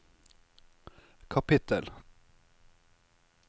kapittel